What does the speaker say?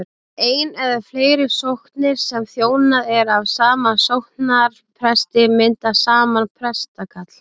ein eða fleiri sóknir sem þjónað er af sama sóknarpresti mynda saman prestakall